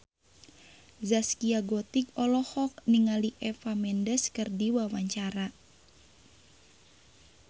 Zaskia Gotik olohok ningali Eva Mendes keur diwawancara